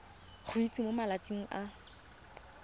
go itsise mo malatsing a